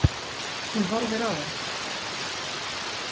Hún horfir á hann.